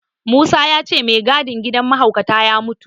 Musa ya ce mai gadin gidan mahaukata ya mutu.